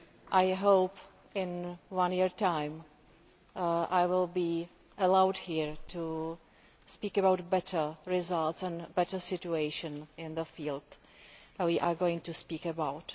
I hope that in one year's time I will be allowed here to speak about better results and a better situation in the field we are going to speak about.